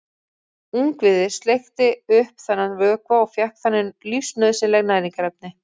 Ungviðið sleikti upp þennan vökva og fékk þannig lífsnauðsynleg næringarefni.